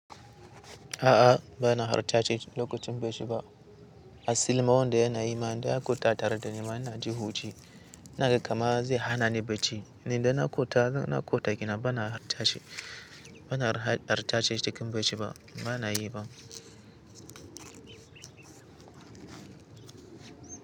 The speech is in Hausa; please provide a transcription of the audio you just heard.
A'a, ba na halarta cikin lokacin bacci ba. Asilin ma wanda yana yi ma da ya kutata da ni mana ji hanci, na ga kamar zai hana ni bacci. Ni da na kota, na kota kina ba na halarta shi, ba na halarta cikin bacci ba, ba na yi ba.